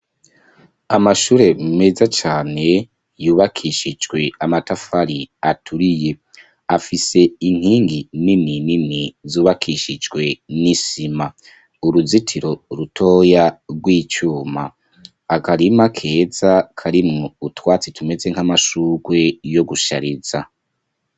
Amashure meza cane yubakishijwe amatafari aturiye afise inkingi nini nini zubakishijwe n'isima, uruzitiro rutoya rw'icuma, akarima keza karimu utwatsi tumeze nk'amashugwe yo gushariza.